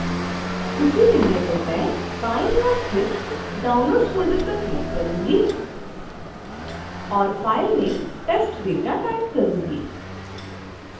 उसी विंडो पर मैं बाईं ओर स्थित downloads फ़ोल्डर पर क्लिक करूंगी